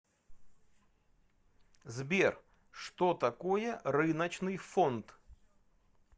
сбер что такое рыночный фонд